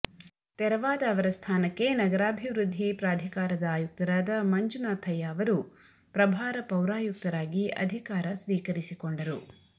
ತೆರವಾದ ಅವರ ಸ್ಥಾನಕ್ಕೆ ನಗರಾಭಿವೃದ್ಧಿ ಪ್ರಾಧಿಕಾರದ ಆಯುಕ್ತರಾದ ಮಂಜುನಾಥಯ್ಯ ಅವರು ಪ್ರಭಾರ ಪೌರಾಯುಕ್ತರಾಗಿ ಅಧಿಕಾರ ಸ್ವೀಕರಿಸಿಕೊಂಡರು